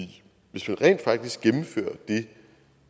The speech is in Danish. hvis man rent faktisk gennemfører det